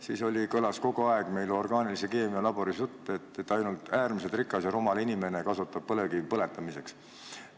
Meil kõlas kogu aeg orgaanilise keemia laboris jutt, et ainult äärmiselt rikas ja rumal inimene kasutab põlevkivi põletamiseks.